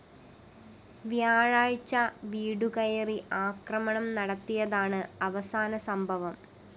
വ്യാഴാഴ്ച വീടുകയറി ആക്രമണം നടത്തിയതാണ് അവസാന സംഭവം